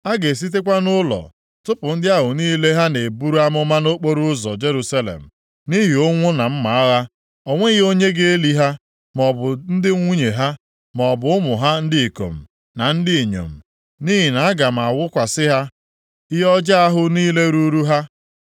A ga-esitekwa nʼụlọ tụpụ ndị ahụ niile ha na-eburu amụma nʼokporoụzọ Jerusalem nʼihi ụnwụ na mma agha. O nweghị onye ga-eli ha, maọbụ ndị nwunye ha, maọbụ ụmụ ha ndị ikom na ndị inyom. Nʼihi na aga m awụkwasị ha ihe ọjọọ ahụ niile ruuru ha.